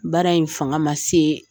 Baara in fanga ma se